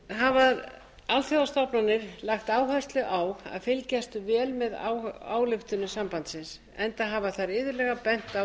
hafa alþjóðastofnanir lagt áherslu á að fylgjast vel með ályktunum sambandsins enda hafa þær iðulega bent á nýjar